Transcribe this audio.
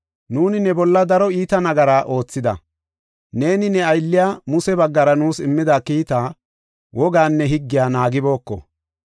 Nuuni ne bolla daro iita nagara oothida; neeni ne aylliya Muse baggara nuus immida kiitaa, wogaanne higgiya naagibooko.